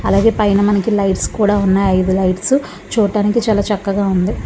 అలాగే పని అయినా మనకి లైట్స్ కూడా ఉన్నాయి. ఐదు లైట్స్ చూడడానికి చాలా చక్కగా ఉంది.